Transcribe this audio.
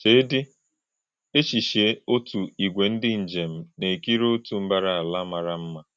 “Chèedị̄ èchéchíè̄ òtú̄ ìgwè̄ ndị́ njèm na - èkírí̄ òtú̄ ḿbárá àlà màrá̄ mma.